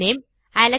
full name